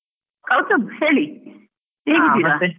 ಕೌಸ್ತುಬ್ ಹೇಳಿ .